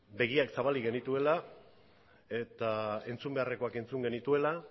begiak zabalik genituela eta entzun beharrekoak entzun genituela